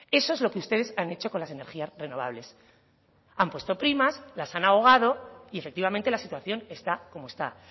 eso es lo que ustedes han hecho con las energías renovables han puesto primas las han ahogado y efectivamente la situación está como esta